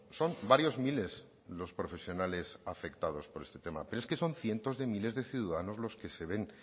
son varios miles los profesionales afectados por este tema pero es que son cientos de miles de ciudadanos los que se ven